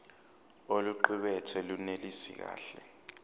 oluqukethwe lunelisi kahle